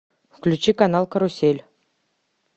включи канал карусель